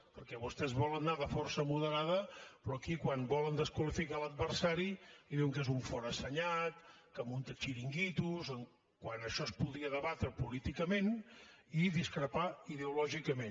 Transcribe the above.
perquè vostès volen anar de força moderada però aquí quan volen desqualificar l’adversari diuen que és un forassenyat que munta xiringuitos quan això es podria debatre políticament i discrepar ideològicament